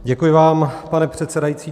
Děkuji vám, pane předsedající.